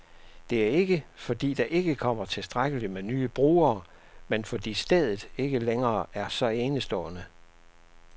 Det er ikke, fordi der ikke kommer tilstrækkeligt med nye brugere, men fordi stedet ikke længere er så enestående.